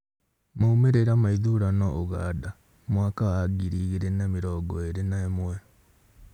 Maumĩrĩra ma ithurano Ũganda mwaka wa ngiri igĩrĩ na mĩrngo ĩrĩ na ĩmwe